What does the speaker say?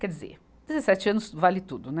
Quer dizer, dezessete anos vale tudo, né.